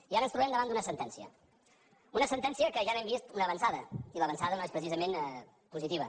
i ara ens trobem davant d’una sentencia una sentència que ja n’hem vist una avançada i l’avançada no és precisament positiva